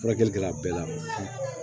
Furakɛli kɛla bɛɛ la